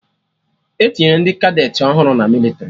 Etinyere ndị Kadeti ọhụrụ na mịlịtrị